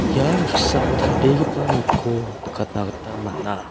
ia noksao dal·begipa nokko nikatna gita man·a.